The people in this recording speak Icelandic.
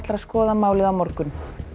að skoða málið á morgun